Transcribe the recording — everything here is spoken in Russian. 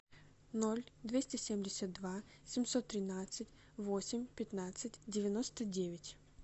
ноль двести семьдесят два семьсот тринадцать восемь пятнадцать девяносто девять